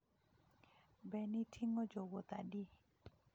Be ne ting’o jowuoth adi?